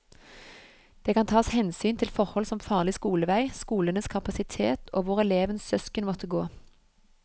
Det kan tas hensyn til forhold som farlig skolevei, skolenes kapasitet og hvor elevens søsken måtte gå.